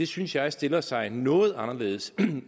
synes jeg stiller sagen noget anderledes